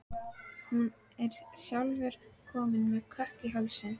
Hann er sjálfur kominn með kökk í hálsinn.